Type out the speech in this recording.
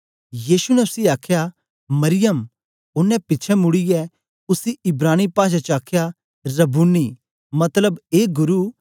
यीशु ने उसी आखया मरियम ओनें पिछें मुड़ीयै उसी इब्रानी पाषा च आखया रब्बूनी मतबल ए गुरु